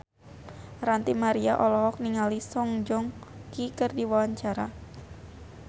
Ranty Maria olohok ningali Song Joong Ki keur diwawancara